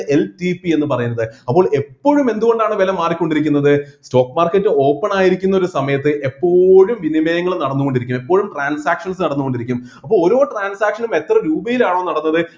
LTP യെന്നുപറയുന്നത് അപ്പോൾ എപ്പോഴും എന്തുകൊണ്ടാണ് വില മാറിക്കൊണ്ടിരിക്കുന്നത് stock market open ആയിരിക്കുന്ന ഒരു സമയത്ത് എപ്പോഴും വിനിമയങ്ങൾ നടന്നുകൊണ്ടിരിക്കും എപ്പോഴും transactions നടന്നുകൊണ്ടിരിക്കും അപ്പൊ ഓരോ transactions നും എത്ര രൂപയിലാണോ നടന്നത്